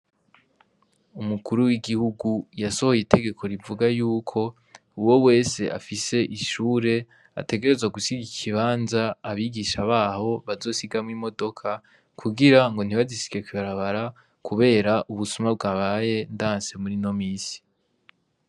Umukuru w'igihugu yasohoye itegeko rivuga yuko uwo wese afise ishure ategerezwa gusiga ikibanza, ah'abigisha baho bazosiga ama modoka, kugirango ntibazigsige kw'ibarabara ,kubera ubusuma bwabaye ndansi murino misi.